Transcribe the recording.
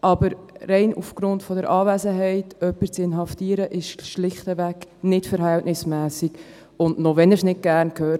Aber jemanden rein aufgrund der Anwesenheit zu inhaftieren, ist schlichtweg nicht verhältnismässig, und auch, wenn Herr Brönnimann es nicht gerne hört: